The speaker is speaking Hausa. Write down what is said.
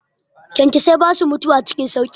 Kyankyasai basu mutuwa cikin sauƙi.